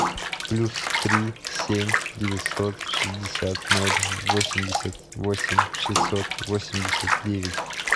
плюс три семь девятьсот шестьдесят ноль восемьдесят восемь шестьсот восемьдесят девять